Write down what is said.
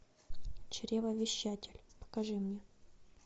чревовещатель покажи мне